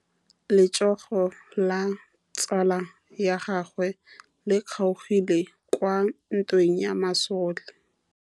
Letsôgô la tsala ya gagwe le kgaogile kwa ntweng ya masole.